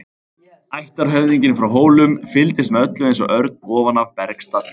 Ættarhöfðinginn frá Hólum fylgdist með öllu eins og örn ofan af bergstalli.